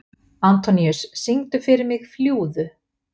Antoníus, syngdu fyrir mig „Fljúgðu“.